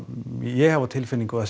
ég hef á tilfinningu að